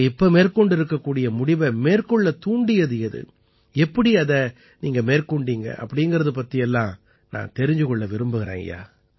நீங்கள் இப்போது மேற்கொண்டிருக்கும் முடிவை மேற்கொள்ளத் தூண்டியது எது எப்படி அதை மேற்கொண்டீர்கள் என்பது பற்றியெல்லாம் நான் தெரிந்து கொள்ள விரும்புகிறேன் ஐயா